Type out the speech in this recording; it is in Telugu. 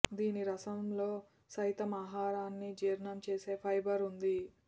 దీని రసంలో సైతం ఆహారాన్ని జీర్ణం చేసే ఫైబర్ ఉంది